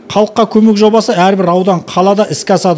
халыққа көмек жобасы әрбір аудан қалада іске асады